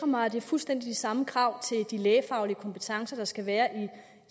mig at det er fuldstændig de samme krav til de lægefaglige kompetencer der skal være